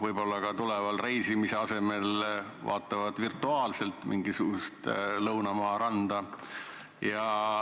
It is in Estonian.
Võib-olla ka reisimise asemel inimesed vaatavad virtuaalselt mingisugust lõunamaa randa.